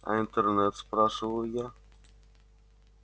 а интернет спрашиваю я